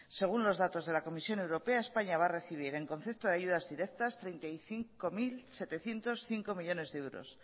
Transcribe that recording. según los datos de la comisión europea españa va a recibir en concepto de ayudas directas treinta y cinco mil setecientos cinco millónes de euros